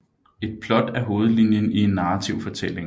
Et plot er hovedlinjen i en narrativ fortælling